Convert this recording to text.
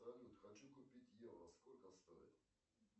салют хочу купить евро сколько стоит